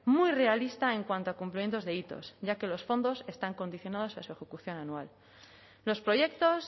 muy realista en cuanto a cumplimientos de hitos ya que los fondos están condicionados a su ejecución anual los proyectos